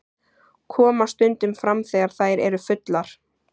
Koma stundum fram þegar þær eru fullar.